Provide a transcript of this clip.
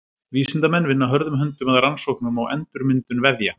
Vísindamenn vinna hörðum höndum að rannsóknum á endurmyndun vefja.